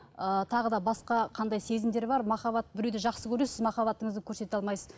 ы тағы да басқа қандай сезімдер бар махаббат біреуді жақсы көресіз махаббатыңызды көрсете алмайсыз